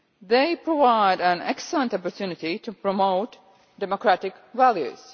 They provide an excellent opportunity to promote democratic values.